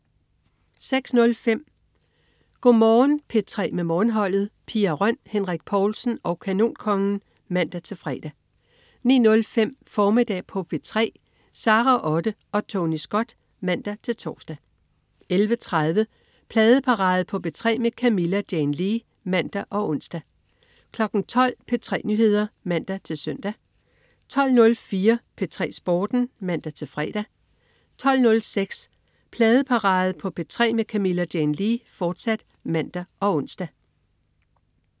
06.05 Go' Morgen P3 med Morgenholdet. Pia Røn, Henrik Povlsen og Kanonkongen (man-fre) 09.05 Formiddag på P3. Sara Otte og Tony Scott (man-tors) 11.30 Pladeparade på P3 med Camilla Jane Lea (man og ons) 12.00 P3 Nyheder (man-søn) 12.04 P3 Sporten (man-fre) 12.06 Pladeparade på P3 med Camilla Jane Lea, fortsat (man og ons)